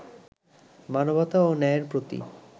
মানবতা ও ন্যায়ের প্রতি